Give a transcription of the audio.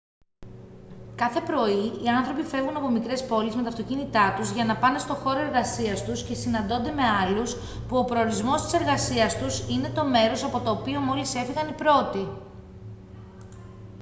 κάθε πρωί οι άνθρωποι φεύγουν από μικρές πόλεις με τα αυτοκίνητά τους για να πάνε στο χώρο εργασίας τους και συναντώνται με άλλους που ο προορισμός της εργασίας τους είναι το μέρος από το οποίο μόλις έφυγαν οι πρώτοι